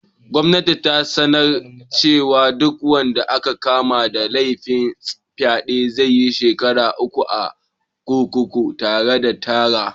Gwamnati ta sanar cewa duk wanda aka kama da laifin fyaɗe zaiyi shekara uku a kurkuku tare da tarra